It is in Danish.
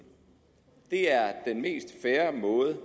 det er den mest fair måde